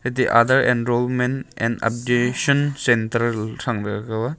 aadhar and enrollment and updation centre the aga.